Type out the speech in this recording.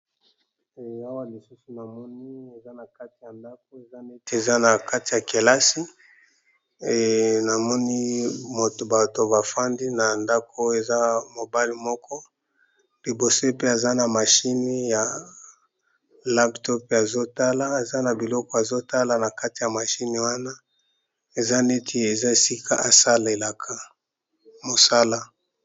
Awa lisusu na moni eza na kati ya ndako eza neti eza na kati ya kelasi namoni bato bafandi na ndako eza mobali moko liboso pe eza na mashine ya laptope azotala eza na biloko azotala na kati ya mashine wana eza neti eza sika esalelaka mosala.